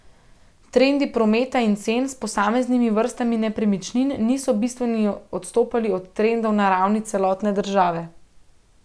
Trendi prometa in cen s posameznimi vrstami nepremičnin niso bistveno odstopali od trendov na ravni celotne države.